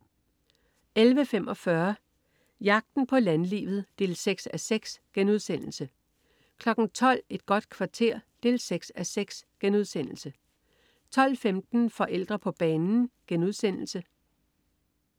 11.45 Jagten på landlivet 6:6* 12.00 Et godt kvarter 6:6* 12.15 Forældre på banen*